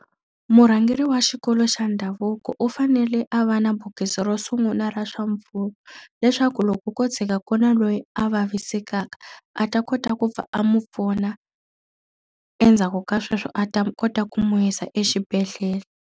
Murhangeri wa xikolo xa ndhavuko u fanele a va na bokisi ro sungula ra swa mpfuno leswaku loko ko tshika ku ri na loyi a vavisekaka, a ta kota ku pfa a n'wi pfuna endzhaku ka sweswo a ta kota ku n'wi yisa exibedhlele.